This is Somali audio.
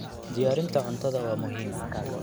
Diyaarinta cuntada waa muhiim.